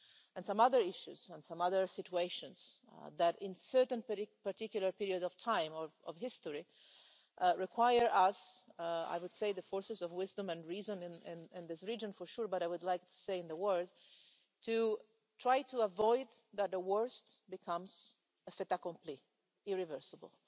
and some other issues and some other situations that, in certain particular periods of time or of history, require us I would say the forces of wisdom and reason in this region, for sure, but I would like to say in the world to try to avoid that the worst becomes a fait accompli, irreversible.